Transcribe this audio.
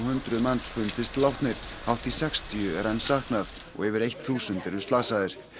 hundruð fundist látnir hátt í sextíu er enn saknað og yfir eitt þúsund eru slasaðir